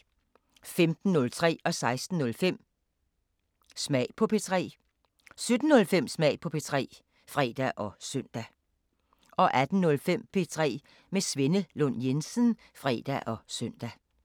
15:03: Smag på P3 16:05: Smag på P3 17:05: Smag på P3 (fre og søn) 18:05: P3 med Svenne Lund Jensen (fre og søn)